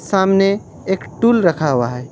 सामने एक टूल रखा हुआ है।